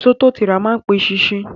Èso tó ti rà má n pe eṣinṣin